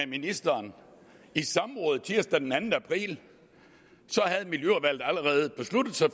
ministeren i samråd tirsdag den anden april havde miljøudvalget allerede besluttet sig